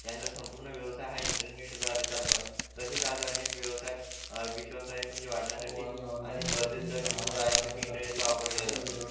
त्यांच्या संपूर्ण व्यवसाय हा इंटरनेट द्वारे चालतो आणि तसेच आज अनेक व्यवसाय सहाय्यता वाढण्यासाठी आणि आणि स्पर्धेत टिकून राहण्यासाठी साठी इंटरनेटचा वापर केला जातो